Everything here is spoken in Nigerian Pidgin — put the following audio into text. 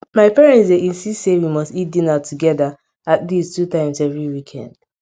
my parents dey insist sey we must eat dinner togeda at least two times every weekend